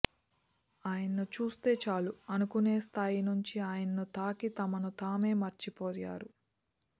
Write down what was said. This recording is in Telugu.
ఆయన్ను చూస్తే చాలు అనుకునే స్థాయి నుంచి ఆయన్ను తాకి తమను తామే మర్చిపోయారు